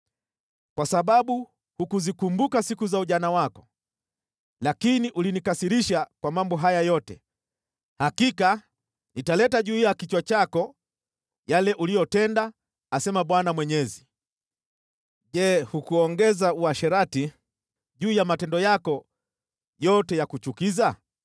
“ ‘Kwa sababu hukuzikumbuka siku za ujana wako, lakini ulinikasirisha kwa mambo haya yote, hakika nitaleta juu ya kichwa chako yale uliyotenda, asema Bwana Mwenyezi. Je hukuongeza uasherati juu ya matendo yako yote ya kuchukiza?